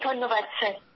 ধন্যবাদ স্যার